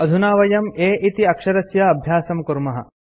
अधुना वयं a इति अक्षरस्य अभ्यासं कुर्मः